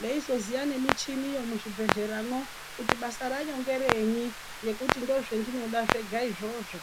kuzoziya nemuchini muzvibhedhleramwo kuti basa racho ngerei ndozvandinoda zvega izvozvo.